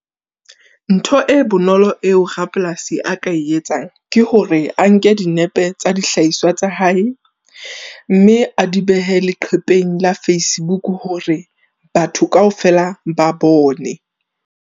Ntho e bonolo eo rapolasi a ka e etsang ke hore a nke dinepe tsa dihlahiswa tsa hae. Mme a di behe leqhepeng la Facebook hore batho kaofela ba bone.